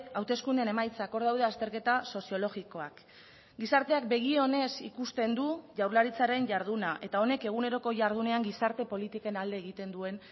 hauteskundeen emaitzak hor daude azterketa soziologikoak gizarteak begi onez ikusten du jaurlaritzaren jarduna eta honek eguneroko jardunean gizarte politiken alde egiten duen